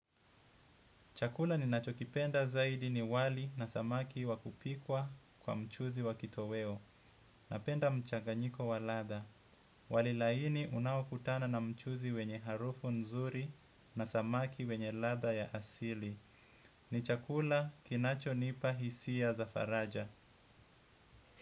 Chakula ninacho kipenda zaidi ni wali na samaki wakupikwa kwa mchuzi wa kitoweo. Napenda mchaganyiko wa latha. Wali laini unaokutana na mchuzi wenye harufu nzuri na samaki wenye latha ya asili. Ni chakula kinacho nipa hisia za faraja.